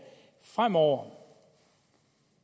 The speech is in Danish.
fremover